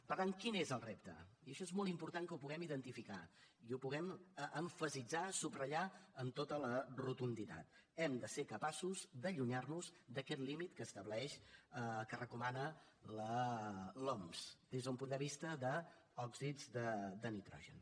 per tant quin és el repte i això és molt important que ho puguem identificar i ho puguem emfasitzar subratllar amb tota la rotunditat hem de ser capaços d’allunyar nos d’aquest límit que estableix que recomana l’oms des d’un punt de vista d’òxids de nitrogen